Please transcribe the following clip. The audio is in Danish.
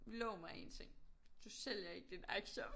Lov mig én ting. Du sælger ikke dine aktier